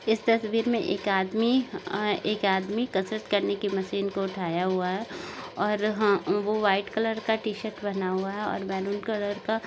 इस तस्वीर मे एक आदमी अ एक आदमी कसरत करने की मशीन को उठाया हुआ है और हा वो व्हाइट कलर का टी शर्ट पहना हुआ है और मरुन कलर का--